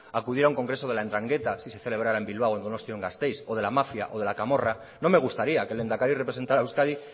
acudiera a un congreso de la entrangueta si se celebrara en bilbao en donostia o en gasteiz o de la mafia o de la camorra no me gustaría que el lehendakari representara a euskadi